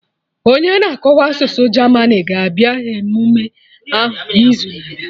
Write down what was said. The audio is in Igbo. Onye na-akọwa asụsụ German ga-abịa emume ahụ n'izu na-abịa